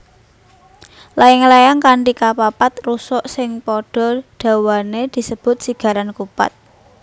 Layang layang kanthi kapapat rusuk sing padha dawané disebut sigaran kupat